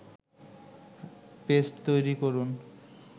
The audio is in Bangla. পেস্ট তৈরি করুন